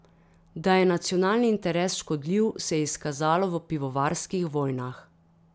Da je nacionalni interes škodljiv, se je izkazalo v pivovarskih vojnah.